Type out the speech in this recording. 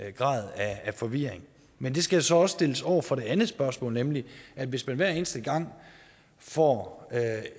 grad af forvirring men det skal så også stilles over for det andet spørgsmål nemlig at hvis man hver eneste gang får